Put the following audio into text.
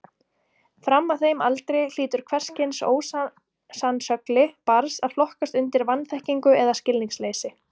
Fram að þeim aldri hlýtur hvers kyns ósannsögli barns að flokkast undir vanþekkingu eða skilningsleysi.